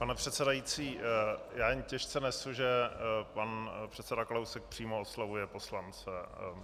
Pane předsedající, já jen těžce nesu, že pan předseda Kalousek přímo oslovuje poslance.